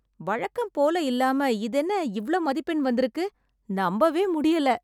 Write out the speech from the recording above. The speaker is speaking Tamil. வழக்கம்போல இல்லாம இதென்ன இவ்ளோ மதிப்பெண் வந்திருக்கு, நம்பவே முடியல!